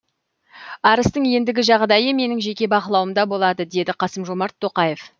арыстың ендігі жағдайы менің жеке бақылауымда болады деді қасым жомарт тоқаев